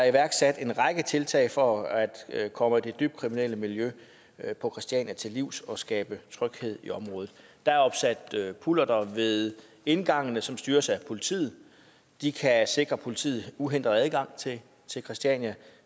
iværksat en række tiltag for at at komme det dybt kriminelle miljø på christiania til livs og skabe tryghed i området der er opsat pullerter ved indgangene som styres af politiet de kan sikre politiet uhindret adgang til christiania